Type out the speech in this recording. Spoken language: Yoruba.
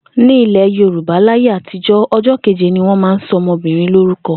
Ní ilè̩ Yorùbá láyé àtijó̩, o̩jó̩ kéje ni wó̩n máa ń so̩ o̩mo̩bìnrin lórúko̩